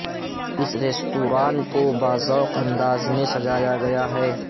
اس restaurant کو باذوق انداز میں سجایا گیا ہے